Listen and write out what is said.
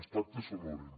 els pactes s’honoren